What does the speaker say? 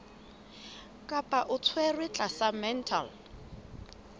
kapa o tshwerwe tlasa mental